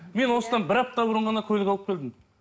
мен осыдан бір апта бұрын ғана көлік алып келдім